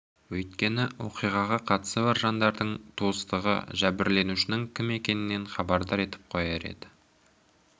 өйткені оқиғаға қатысы бар жандардың туыстығы жәбірленушінің кім екенінен хабардар етіп қояр еді